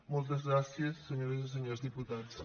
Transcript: moltes gràcies senyores i senyors diputats